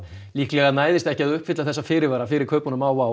líklega næðist ekki að uppfylla alla fyrirvarana fyrir kaupunum á